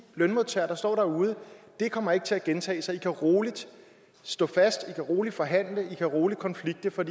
lønmodtagere der står derude det kommer ikke til at gentage sig i kan roligt stå fast i kan roligt forhandle i kan roligt konflikte for